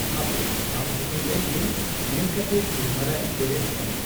ᱦᱟᱯᱮ ᱟᱵ ᱦᱩᱛᱩᱢ ᱞᱮᱱᱜᱮᱧ ᱢᱮᱱᱠᱟᱛᱮ ᱪᱩᱨᱟᱹᱢᱟᱨᱟᱭ ᱵᱮᱨᱮᱫ ᱟᱠᱟᱱᱟ ᱾